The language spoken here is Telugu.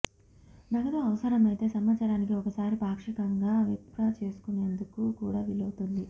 నగదు అవసరమైతే సంవత్సరానికి ఒకసారి పాక్షికంగా విత్డ్రా చేసుకునేందుకు కూడా వీలుంటుంది